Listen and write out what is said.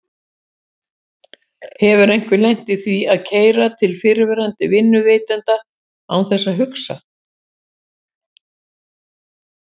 Hefur einhver lent í því að keyra til fyrrverandi vinnuveitanda án þess að hugsa?